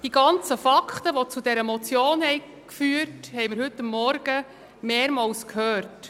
Die Fakten, die dieser Motion zugrunde liegen, haben wir heute Vormittag mehrmals gehört.